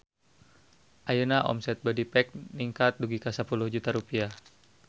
Ayeuna omset Bodypack ningkat dugi ka 10 juta rupiah